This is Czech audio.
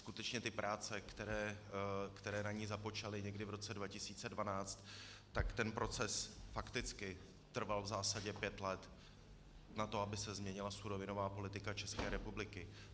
Skutečně ty práce, které na ní započaly někdy v roce 2012, tak ten proces fakticky trval v zásadě pět let na to, aby se změnila surovinová politika České republiky.